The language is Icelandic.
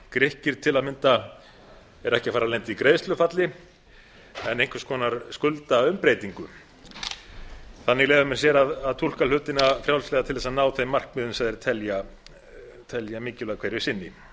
grikkir eru til að mynda ekki að fara að lenda í greiðslufalli heldur einhvers konar skuldaumbreytingu þannig leyfa menn sér að túlka hlutina frjálslega til að ná þeim markmiðum sem þeir telja mikilvæg hverju sinni